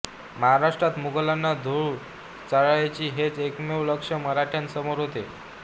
महाराष्ट्रात मुघलांना धुळ चारायची हेच एकमेव लक्ष्य मराठ्यांसमोर होते